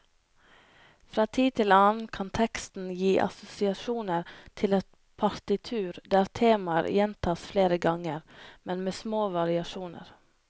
Fra tid til annen kan teksten gi assosiasjoner til et partitur der temaer gjentas flere ganger, men med små variasjoner.